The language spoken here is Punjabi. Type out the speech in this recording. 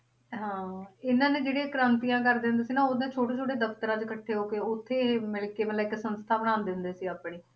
ਹਾਂ ਇਹਨਾਂ ਨੇ ਜਿਹੜੇ ਕ੍ਰਾਂਤੀਆਂ ਕਰਦੇ ਹੁੰਦੇ ਸੀ ਨਾ ਉਹਨਾਂ ਛੋਟੇ ਛੋਟੇ ਦਫਤਰਾਂ ਚ ਇਕੱਠੇ ਹੋ ਕੇ ਉੱਥੇ ਇਹ ਮਿਲ ਕੇ ਮਤਲਬ ਇਕ ਸੰਸਥਾ ਬਣਾਉਂਦੇ ਹੁੰਦੇ ਸੀ ਆਪਣੀ